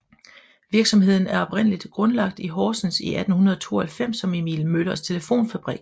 Virksomheden er oprindeligt grundlagt i Horsens i 1892 som Emil Møllers Telefonfabrik